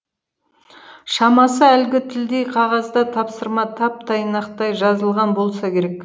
шамасы әлгі тілдей қағазда тапсырма тап тайнақтай жазылған болса керек